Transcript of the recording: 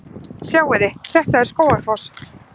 Sjáiði! Þetta er Skógafoss.